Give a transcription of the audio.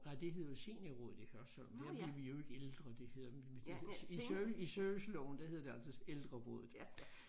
Nej det hed jo Seniorrådet i Hørsholm der er vi jo ikke ældre det hedder i i serviceloven der hed det altså Ældrerådet